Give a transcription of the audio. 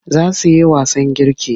Za su yi wasan girki gobe.